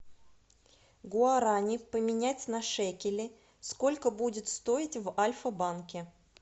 гуарани поменять на шекели сколько будет стоить в альфа банке